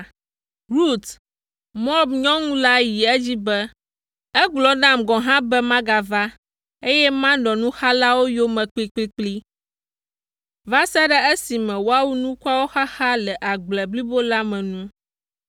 Rut, Moab nyɔnu la yi edzi be, “Egblɔ nam gɔ̃ hã be magava, eye manɔ nuxalawo yome kplikplikpli va se ɖe esime woawu nukuawo xaxa le agble blibo la me nu.”